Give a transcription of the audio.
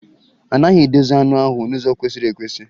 A naghị edozi anụ ahụ n'ụzọ kwesịrị ekwesị.